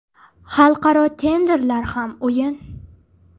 Xalqaro tenderlar ham o‘yin.